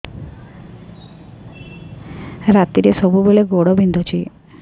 ରାତିରେ ସବୁବେଳେ ଗୋଡ ବିନ୍ଧୁଛି